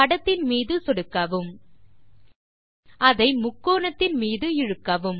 படத்தின் மீது சொடுக்கவும் அதை முக்கோணத்தின் மீது இழுக்கவும்